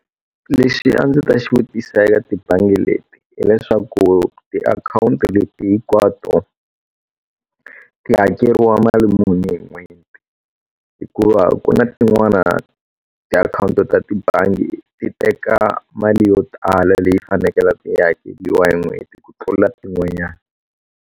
Lexi a ndzi ta xivutiso eka ti bangi leti hileswaku ti akhawunti leti hinkwato ti hakeriwa mali muni hi n'hweti hikuva ku na tin'wana tiakhawunti ta tibangi ti teka mali yo tala leyi fanekele ku hakeriwa hi n'hweti ku tlula tin'wanyani.